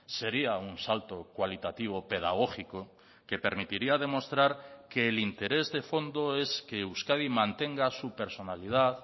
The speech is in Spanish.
sería un salto cualitativo pedagógico que permitiría demostrar que el interés de fondo es que euskadi mantenga su personalidad